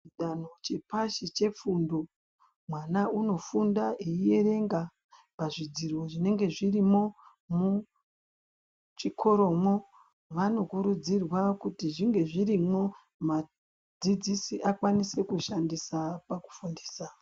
Chidando chepashi chefundo ,mwana unofunda aiverenga pazvidziro zvinenge zvirimo muchikoromwo . Vanokurudzirwa kuti zvinge zvirimwo mudzidzisi akwanise kuzvishandisa pakufundisa .